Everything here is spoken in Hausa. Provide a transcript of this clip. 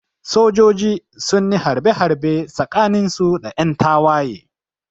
Sojoji sunyi harbe harbe tsakanin su da yan tawaye